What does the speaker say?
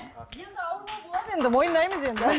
енді ауырлау болады енді мойындаймыз енді